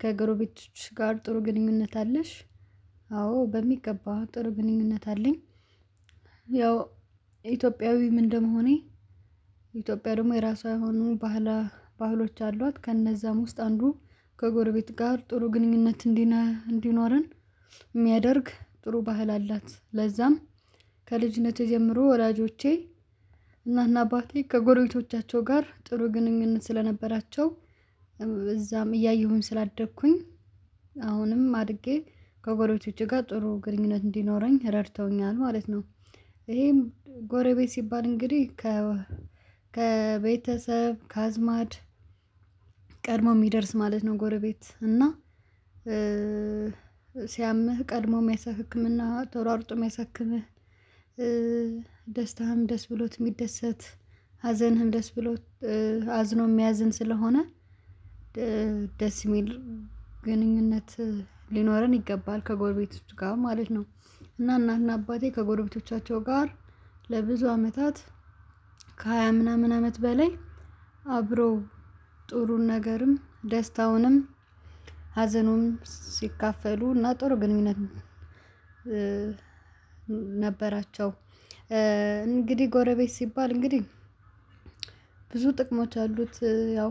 ከጎረቤቶችሽ ጋር ጥሩ ግንኙነት አለሽ? አዎ በሚገባ ጥሩ ግንኙነት አለኝ ያው ኢትዮጵያዊም እንደመሆኔ ኢትዮጵያ ደግሞ የራሷ የሆኑ ባህላ ባህሎች አሏት ከእነዛም ውስጥ አንዱ ከጎረቤት ጋር ጥሩ ግንኙነት እንዲኖረን የሚያደርግ ጥሩ ባህል አላት ለዛም ከልጅነቴ ጀምሮ ወላጆቼ እናትና አባቴ ከጎረቤቶቻቸው ጋር ጥሩ ግንኙነት ስለነበራቸው እዛም እያየሁኝ ስላደኩኝ አሁንም አድጌ ከጎረቶቼ ጋር ጥሩ ግንኙነት እንዲኖረኝ ረድተውኛል ማለት ነው ይሄም ጎረቤት ሲባል እንግዲህ ከቤተሰብ ከአዝማድ ቀድሞ ሚደርስ ማለት ነው ጎረቤት እና ሲያምህ ቀድሞ የሚያሳክምህና ተሯሩጦ የሚያሳክምህ ደስታህን ደስ ብሎት የሚደሰት ሀዘንህም ደስ ብሎት አዝኖ የሚያዝን ስለሆነ ደስ የሚል ግንኙነት ሊኖረን ይገባል ከጎረቤቶች ጋር ማለት ነው እና እናትና አባቴ ከጎረቤቶቻቸው ጋር ለብዙ አመታት ከሃያ ምናምን አመት በላይ አብሮ ጥሩን ነገርም ደስታውንም ሀዘኑም ሲከፋፈሉ እና ጥሩ ግንኙነት ነበራቸው እንግዲህ ጎረቤት ሲባል እንግዲህ ብዙ ጥቅሞች አሉት ያው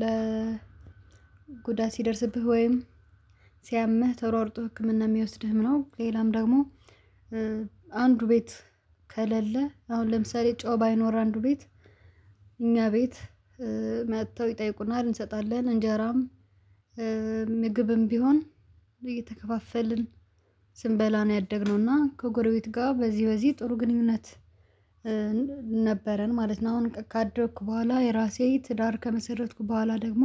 ለ ጉዳት ሲደርስብህ ወይም ሲያምህ ተሯርጦ ህክምና የሚወስድህም ነው ሌላም ደግሞ አንዱ ቤት ከለለ አሁን ለምሳሌ ጨው ባይኖር አንዱ ቤት እኛ ቤት መተው ይጠይቁናል እንሰጣለን እንጀራም ምግብም ቢሆን እየተከፋፈልን ስንበላ ነው ያደግነው እና ከጎረቤት ጋር በዚህ በዚህ ጥሩ ግንኙነት ነበረን ማለት ነው አሁን ካደኩ በኋላ የራሴ ትዳር ከመሰረትኩ በኋላ ደግሞ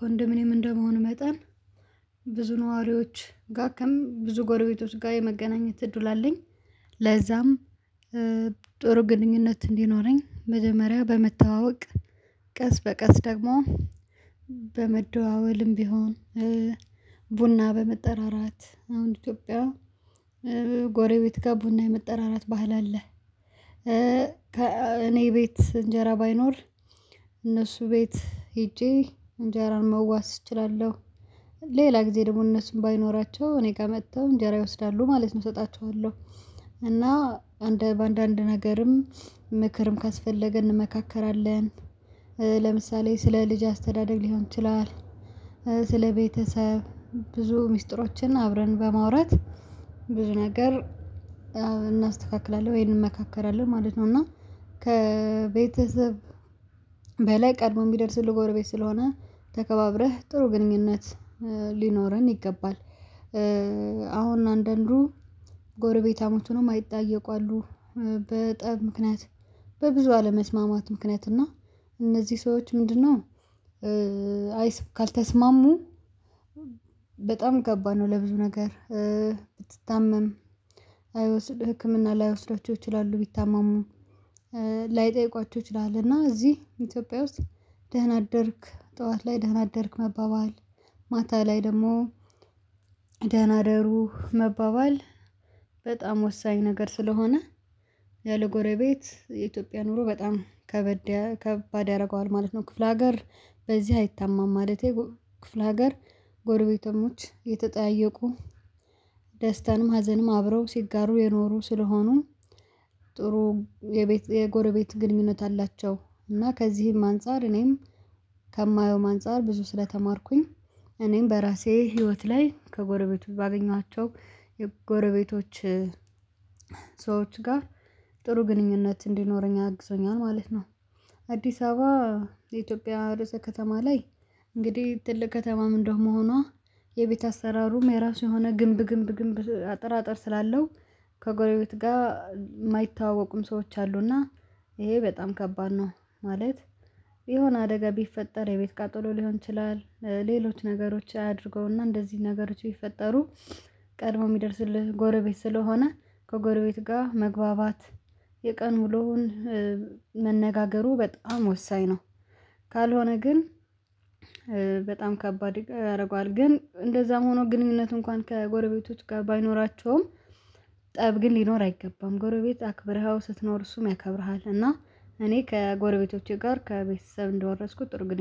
ኮንደምኔም እንደመሆኑ መጠን ብዙ ነዋሪዎች ጋርም ብዙ ጎረቤቶች ጋር የመገናኘት እድል አለኝ ለዛም ጥሩ ግንኙነት እንዲኖረኝ መጀመሪያ በመተዋወቅ ቀስ በቀስ ደግሞ በመደዋወልም ቢሆን ቡና በመጠራራት አሁን ኢትዮጵያ ጎረቤት ጋር ቡና የመጠራራት ባህል አለ እኔ ቤት እንጀራ ባይኖር እነሱ ቤት ሄጄ እንጀራን መዋስ እችላለሁ ሌላ ጊዜ ደግሞ እነሱን ባይኖራቸው እኔ ጋር መጥተው እንጀራ ይወስዳሉ ማለት ነው እሰጣችኋለሁ እና በአንዳንድ ነገርም ምክርም ካስፈለገ እንመካከራለን ለምሳሌ ስለ ልጅ አስተዳደግ ሊሆን ይችላል ስለ ቤተሰብ ብዙ ሚስጥሮችን አብረን በማውራት ብዙ ነገር እናስተካክላለን ወይንም እንመካከራለን ማለት ነው እና ከቤተሰብ በላይ ቀድሞ የሚደርስ ጎረቤት ስለሆነ ተከባብረህ ጥሩ ግንኙነት ሊኖረን ይገባል አሁን አንዳንዱ ጎረቤታሞች ሆነው ማይጠያየቁ አሉ በጠብ ምክንያት በብዙ አለመስማማት ምክንያት እና እነዚህ ሰዎች ምንድነው አይ ካልተስማሙ በጣም ከባድ ነው ለብዙ ነገር ብትታመም አይወስድህ ህክምና ላይወስዳቸው ይችላሉ ቢታመሙ ላይጠይቋቸው ይችላል እና እዚህ ኢትዮጵያ ውስጥ ደህና አደርክ ጠዋት ላይ ደህና አደርክ መባባል ማታ ላይ ደግሞ ደህና እደሩ መባባል በጣም ወሳኝ ነገር ስለሆነ ያለ ጎረቤት የኢትዮጵያ ኑሮ በጣም ከባድ ያደርገዋል ማለት ነው ክፍለ ሀገር በዚህ አይታማም ማለቴ ክፍለ ሀገር ጎረቤታሞች እየተጠያየቁ ደስታንም ሀዘንም አብረው ሲጋሩ የኖሩ ስለሆኑ ጥሩ የጎረቤት ግንኙነት አላቸው እና ከዚህም አንፃር እኔም ከማየውም አንፃር ብዙ ስለተማርኩኝ እኔም በራሴ ህይወት ላይ ከጎረቤቱ ባገኘኋቸው የጎረቤቶች ሰዎች ጋር ጥሩ ግንኙነት እንዲኖረኝ አግዞኛል ማለት ነው አዲስ አበባ የኢትዮጵያ ርዕሰ ከተማ ላይ እንግዲህ ትልቅ ከተማም እንደ መሆኗ የቤት አሰራሩም የራሱ የሆነ ግንብ ግንብ ግንብ አጠራጥር ስላለው ከጎረቤት ጋር የማይተዋወቁም ሰዎች አሉና ይሄ በጣም ከባድ ነው ማለት የሆነ አደጋ ቢፈጠር የቤት ቀጥሎ ሊሆን ይችላል ሌሎች ነገሮች አያድርገውና እንደዚህ ነገሮች ቢፈጠሩ ቀድሞ የሚደርስልህ ጎረቤት ስለሆነ ከጎረቤት ጋር መግባባት የቀን ውሎህን መነጋገሩ በጣም ወሳኝ ነው ካልሆነ ግን በጣም ከባድ ያደርገዋል ግን እንደዛም ሆኖ ግንኙነት እንኳን ከጎረቤቶች ጋር ባይኖራቸውም ጠብ ግን ሊኖር አይገባም ጎረቤት አክብረኃው ስትኖር እሱም ያከብርሃል እና እኔ ከጎረቤቶቼ ጋር ከቤተሰብ እንደወረስኩት ጥሩ ግንኙነት